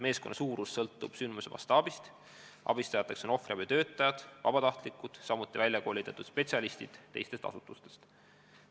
Meeskonna suurus sõltub sündmuse mastaabist, abistajateks on ohvriabitöötajad, vabatahtlikud ja välja koolitatud spetsialistid teistest asutustest.